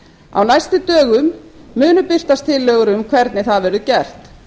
á næstu dögum munu birtast tillögur um hvernig það verður gert